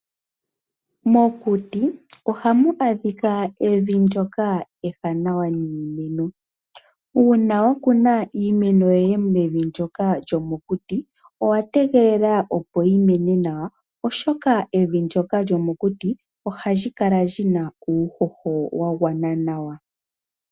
Mokuti ohamu adhika evi ndoka ewanawa niimeno. Uuna wakuna iimeno yoye mevi ndoka lyomokuti owategelela opo yimene nawa oshoka, evi ndoka lyomokuti ohali kala lyina uuhoho wagwana nawa.